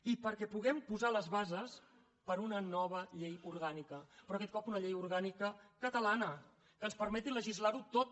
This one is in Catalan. i perquè puguem posar les bases per a una nova llei orgànica però aquest cop una llei orgànica catalana que ens permeti legislarho tot